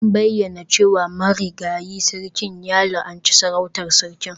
An bayyana cewa marigayi sarkin ya la'anci sarautar Sarki.